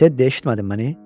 Teddy, eşitmədin məni?